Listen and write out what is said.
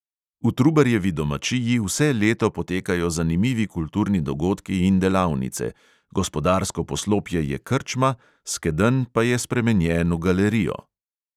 V trubarjevi domačiji vse leto potekajo zanimivi kulturni dogodki in delavnice; gospodarsko poslopje je krčma, skedenj pa je spremenjen v galerijo